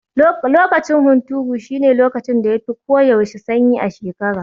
Lokacin hunturu shine lokacin da ya fi ko yaushe sanyi a shekara.